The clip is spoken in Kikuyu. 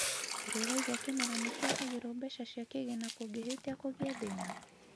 ũrĩ waigua kĩmera nĩ kigagĩrũo mbeca cia kigĩna kũngĩhĩtîa kugĩe thĩna?